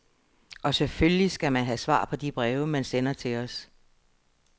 Og selvfølgelig skal man have svar på de breve, man sender til os.